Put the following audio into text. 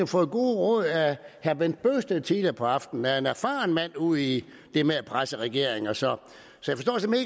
fået gode råd af herre bent bøgsted tidligere på aftenen der er en erfaren mand ud i det med at presse regeringer så